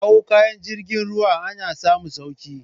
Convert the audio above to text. Kawo kaya ta jirgin ruwa ana samun sauki